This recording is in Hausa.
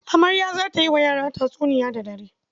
Amarya za ta yi wa yara tatsuniya da dare.